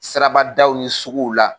Siraba daw ni suguw la.